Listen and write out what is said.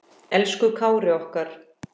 Elsku Kári okkar.